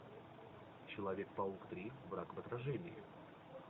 человек паук три враг в отражении